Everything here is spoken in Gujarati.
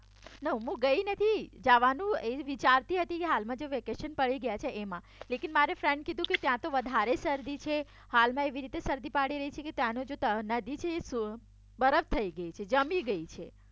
ના હું ગઈ નથી જવાનું વિચારતી હતી હાલમાં જે વેકેશન પડી ગયા છે એમાં લેકિન મારે ફ્રેન્ડ કીધું કે ત્યાં તો વધારે શરદી છે હાલમાં એવી રીતે શરદી પડી રહી છે ત્યાંની નદી છે બરફ થઈ ગઈ છે જામી ગઈ છે